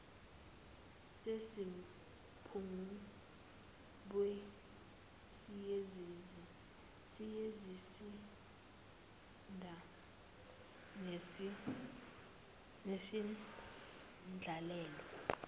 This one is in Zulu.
yasemapungubwe siyisizinda nesendlalelo